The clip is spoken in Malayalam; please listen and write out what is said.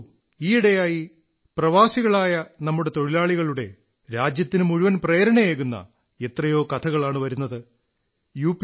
നോക്കൂ ഈ യിടെ നമ്മുടെ പ്രവാസികളായ തൊഴിലാളികളുടെ രാജ്യത്തിനുമുഴുവൻ പ്രേരണയേകുന്ന എത്രയോ കഥകളാണു വരുന്നത് യു